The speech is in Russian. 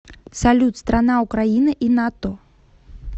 салют страна украина и нато